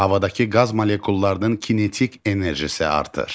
Havadakı qaz molekullarının kinetik enerjisi artır.